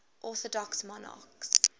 orthodox monarchs